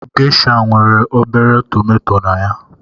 Geisha nwere obere tomato na ya